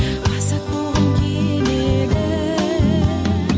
азат болғым келеді